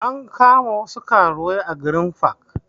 An kama wasu karuwai a green park